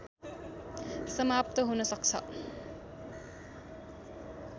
समाप्त हुन सक्छ